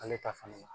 Ale ta fan